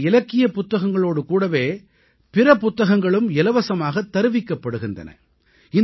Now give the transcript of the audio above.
இங்கே இலக்கிய புத்தகங்களோடு கூடவே பிற புத்தகங்களும் இலவசமாக தருவிக்கப்படுகின்றன